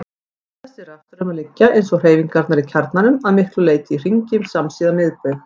Þessir rafstraumar liggja, eins og hreyfingarnar í kjarnanum, að miklu leyti í hringi samsíða miðbaug.